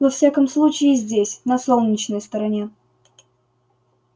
во всяком случае здесь на солнечной стороне